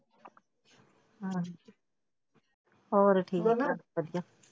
ਹੋਰ ਠੀਕ, ਵਧੀਆ।